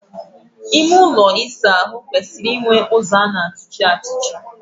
Ime ụlọ ịsa ahụ kwesịrị inwe ụzọ a na-atụchi atụchi.